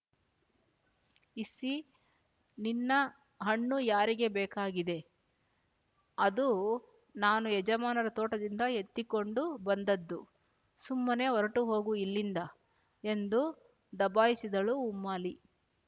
Issy ನಿನ್ನ ಹಣ್ಣು ಯಾರಿಗೆ ಬೇಕಾಗಿದೆ ಅದು ನಾನು ಯಜಮಾನರ ತೋಟದಿಂದ ಎತ್ತಿಕೊಂಡು ಬಂದದ್ದು ಸುಮ್ಮನೆ ಹೊರಟು ಹೋಗು ಇಲ್ಲಿಂದ ಎಂದು ದಬಾಯಿಸಿದಳು ಉಮ್ಮಾಲಿ